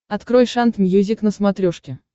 открой шант мьюзик на смотрешке